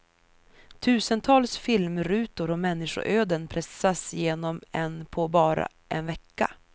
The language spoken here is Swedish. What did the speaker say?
Tusentals filmrutor och människoöden pressas igenom en på bara en vecka.